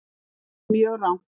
Eitthvað mjög rangt.